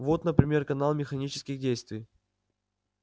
вот например канал механических действий